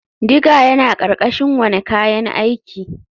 Digger yana ƙarƙashin wane kayan aiki.